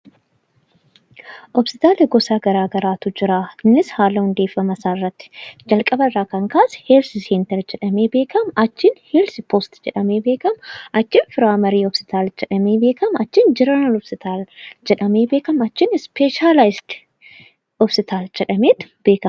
Hospitaalli gosa garaa garaatu jira. Isaanis, haala hundeeffama isaanii irratti jalqaba irratti heelz seentar jedhamee beekama, achiin heelz poost jedhamee beekama, achiin piraayimarii hospitaal jedhamee beekama, achiin jeneraal hospitaal jedhamee beekama, achiin ispeeshaalaayizd hospitaal jedhameetu beekama.